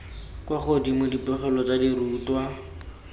kwa godimo dipegelo tsa dirutwa